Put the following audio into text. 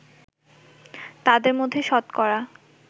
তাদের মধ্যে শতকরা